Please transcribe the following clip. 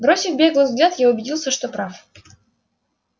бросив беглый взгляд я убедился что прав